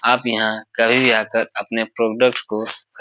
आप यहाँ कभी भी आकर अपने प्रोडक्ट को --